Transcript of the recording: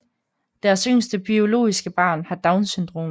Deres yngste biologiske barn har Downs syndrom